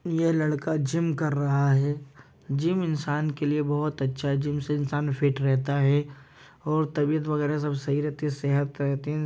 यह लड़का जिम कर रहा है। जिम इंसान के लिए बहुत अच्छा है जिम से इंसान फिट रहता है। और तबियत वगेरा सब सही रहती है सेहत रहती है।